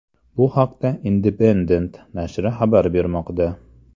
Bu haqda Independent nashri xabar bermoqda .